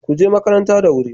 Kuje makaranta da wuri